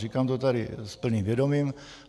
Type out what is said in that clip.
Říkám to tady s plným vědomím.